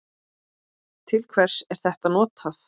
Til hvers er þetta notað?